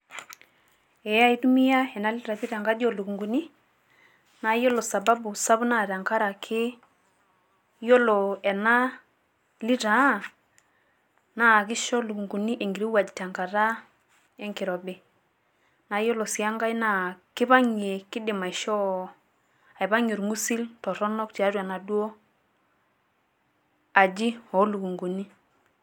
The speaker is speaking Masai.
ee aitumia ena litaa pii tenkaji oolukuni. naa ore sababu naa tenkaraki, iyiolo ena litaa, naa kish ilukunkuni enkirowuaj te nkata oloirobi. naa iyiolo sii enkae kipang'ie kidim aishoo, aipagie orng'usil tiatua enaduoo aji oolukunkuni.